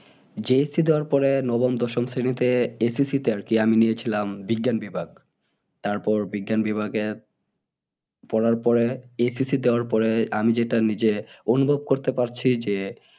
JSC দেওয়ার পরে উম নবম দশম শ্রেণীতে ACC তে আরকি আমি নিয়েছিলাম উম বিজ্ঞান বিভাগ উম তারপরে বিজ্ঞান বিভাগে পড়ার পরে ACC দেওয়ার পরে আমি যেটা নিজে অনুভব করতে পারছি যে